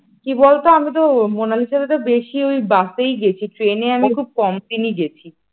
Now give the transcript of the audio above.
কি বলতো আমি তো মোনালিসার বেশি ওই বাসেই গেছি, ট্রেনে আমি খুব কমদিনেই গেছি ।